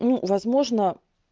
ну возможно